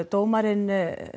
dómarinn